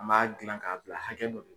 A m'a gilan k'a bila hakɛ dɔ